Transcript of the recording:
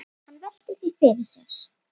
Hann veltir því fyrir sér.